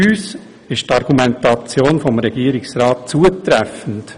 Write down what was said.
Für uns ist die Argumentation des Regierungsrats zutreffend.